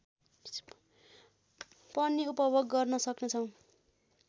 पनि उपभोग गर्न सक्ने छौँ